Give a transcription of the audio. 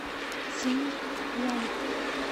циньян